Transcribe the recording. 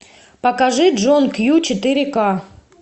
покажи джон кью четыре ка